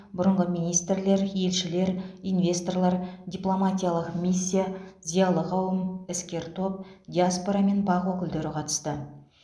бұрынғы министрлер елшілер инвесторлар дипломатиялық миссия зиялы қауым іскер топ диаспора мен бақ өкілдері қатысты